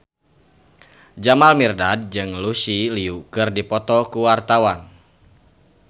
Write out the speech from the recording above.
Jamal Mirdad jeung Lucy Liu keur dipoto ku wartawan